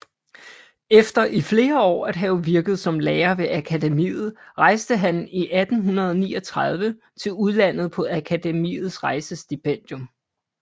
Efter i flere år at have virket som lærer ved Akademiet rejste han i 1839 til udlandet på Akademiets rejsestipendium